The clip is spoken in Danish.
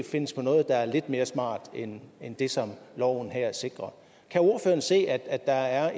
findes på noget der er lidt mere smart end det som loven her sikrer kan ordføreren se at der er